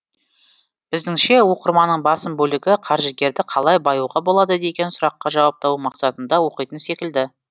біздіңше оқырманның басым бөлігі қаржыгерді қалай баюға болады деген сұраққа жауап табу мақсатында оқитын секілді